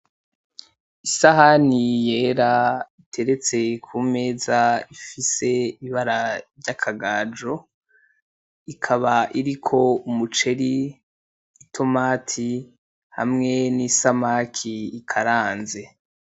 Isahani yera iteretse ku meza ifise ibara ry'akagajo, ikaba iriko umuceri , i "tomate" hamwe n'isamaki ikaranze.